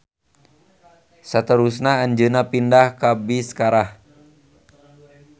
Saterusna anjeunna pindah ka Biskarah.